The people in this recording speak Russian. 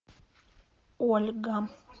ольга